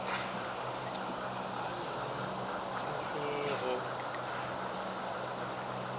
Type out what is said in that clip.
ha a na le kgahleho